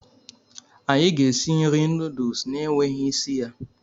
anyị ga-esi nri noodles na-enweghị isi ya.